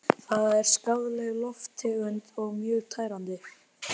Það er skaðleg lofttegund og mjög tærandi.